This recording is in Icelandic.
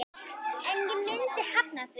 En ég myndi hafna því.